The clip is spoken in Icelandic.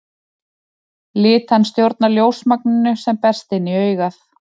Litan stjórnar ljósmagninu sem berst inn í augað.